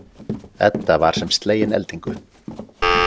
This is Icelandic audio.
Edda var sem slegin eldingu.